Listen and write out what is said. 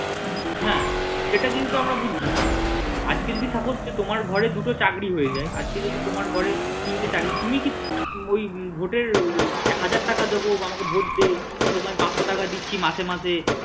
হ্যাঁ এটা কিন্তু আমরা বুঝছি না আজক যদি suppose তোমার ঘরে দুটো চাকরী হয়ে যায় আজকে যদি তোমার ঘরে তিনটে চাকরী তুমি কি ওই ভোটের হাজার টাকা দেবো বা আমাকে ভোট দে তোমায় পাঁচশো টাকা দিচ্ছি মাসে মাসে